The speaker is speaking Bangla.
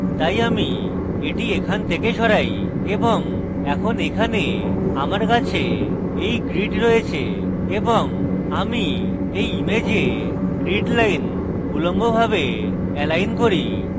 তাই আমি এটি এখান থেকে সরাই এবং এখন এখানে আমার কাছে এই grid রয়েছে এবং আমি এই image grid lines উল্লম্বভাবে lines করি